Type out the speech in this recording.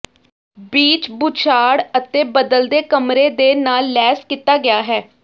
beach ਬੁਛਾਡ਼ ਅਤੇ ਬਦਲਦੇ ਕਮਰੇ ਦੇ ਨਾਲ ਲੈਸ ਕੀਤਾ ਗਿਆ ਹੈ